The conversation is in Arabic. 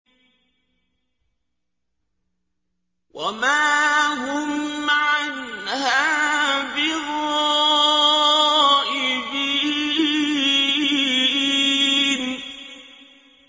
وَمَا هُمْ عَنْهَا بِغَائِبِينَ